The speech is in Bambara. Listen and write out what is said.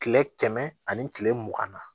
Kile kɛmɛ ani kile mugan na